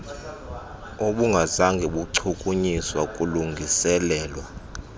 obungazange bachukunyiswa kulungiselelwa